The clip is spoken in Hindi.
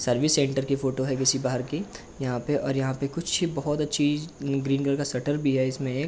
सर्विस सेंटर की फोटो है किसी बाहर की। यहा पे और यहाँ पे कुछ बहोत अच्छी ग्रीन कलर का शटर भी है इसमें एक।